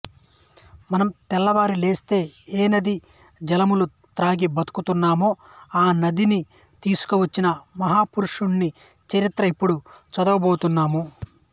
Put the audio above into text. మనం తెల్లవారి లేస్తే ఏ నదీజలములు త్రాగి బతుకుతున్నామో ఆ నదిని తీసుకువచ్చిన మహాపురుషుని చరిత్ర ఇప్పుడు చదవబోతున్నాము